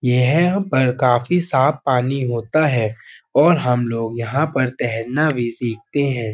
यहह पर काफी साफ पानी होता है और हम लोग यहाँ पर तहरना भी सीखते हैं।